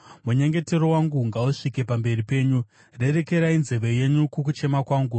Munyengetero wangu ngausvike pamberi penyu; rerekerai nzeve yenyu kukuchema kwangu.